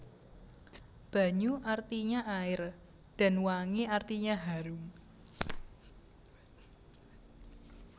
Banyu artinya air dan wangi artinya harum